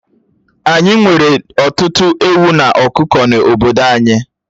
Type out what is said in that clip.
Ányi nwere ọtụtụ ewu na ọkụkọ n'obodo anyị